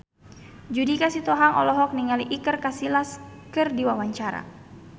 Judika Sitohang olohok ningali Iker Casillas keur diwawancara